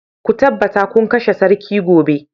Ku tabbata kun kashe sarki gobe